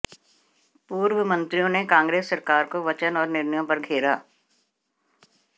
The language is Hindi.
पूर्व मंत्रियों ने कांग्रेस सरकार को वचन और निर्णयों पर घेरा